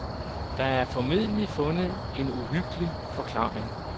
Der er formentlig fundet en uhyggelig forklaring.